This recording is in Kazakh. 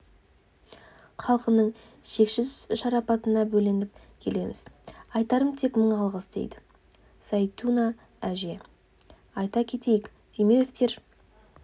халқының шексіз шарапатына бөленіп келеміз айтарым тек мың алғыс дейді зәйтуна әже айта кетейік темировтер